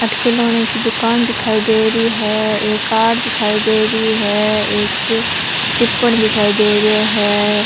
अठे खिलौने की दुकान दिखाई दे रही है एक कार दिखाई दे रही है एक टिप्पण दिखाई दे रो है।